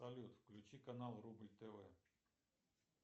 салют включи канал рубль тв